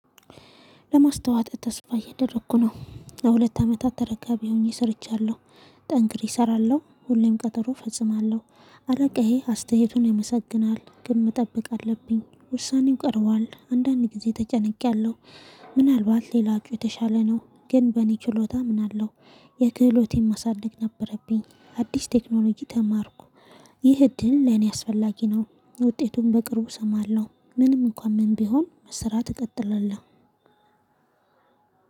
ለማስታወት ተስፋ እየደረኩ ነው ለሁለት አመታት ተረጋቢ ሆኜ ሰርቻለሁ። ጠንክር እሰራለሁ ሁሌም ቀጠሮ ፈጽማለሁ። አለቃየ አስተያየቱን ያመሰግናል ግን መጠበቅ አለብኝ ውሳኔው ቀርቧል አንዳንዴ ጊዜ ተጨነቄያለሁ። ምናልባት ሌላው የተሻለ ነው ግን በእኔ ችሎታ አምናለሁ። የክህሎቴን ማሳደግ ነበረብኝ አዲስ ቴክኖሎጂ ተማርኩ። ይህ እድል ለኔ አስፈላጊ ነው። ውጤቱን በቅርቡ እሰማለሁ ምንም እንኳን ምን ቢሆን መስራት እቀጥላለሁ